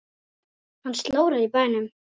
Hann slórar í bænum.